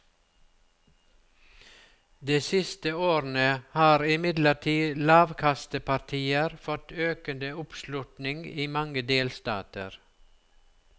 De siste årene har imidlertid lavkastepartier fått økende oppslutning i mange delstater.